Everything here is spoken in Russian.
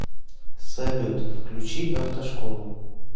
салют включи автошколу